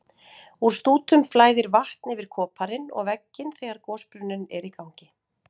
Úr stútum flæðir vatn yfir koparinn og vegginn þegar gosbrunnurinn er í gangi.